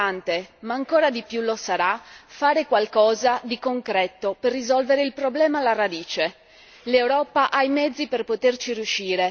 Organizzare grandi eventi su questo tema è importante ma ancora di più lo sarà fare qualcosa di concreto per risolvere il problema alla radice.